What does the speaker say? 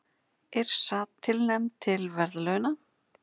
Yrsa tilnefnd til verðlauna